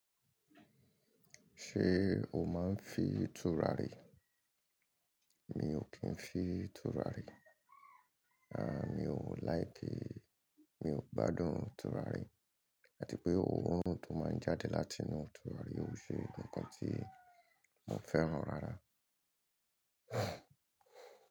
Ṣé o máa ń fi tùràrí? Mi ò kí ń fi tùràrí. Rárá, mi ò like, mi ò gbádùn tùràrí àti pé ohun tó máa ń jáde láti inú tùràrí, ó ṣe nǹkan tí mo fẹ́ràn rárá.